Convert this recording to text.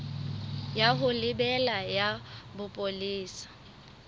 ya ho lebela ya bopolesa